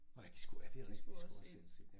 Nåh ja de skulle ja det rigtigt de skulle også sendes ind ja